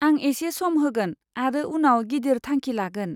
आं एसे सम होगोन आरो उनाव गिदिर थांखि लागोन।